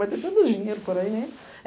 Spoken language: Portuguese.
Mas tem tanto dinheiro por aí, né?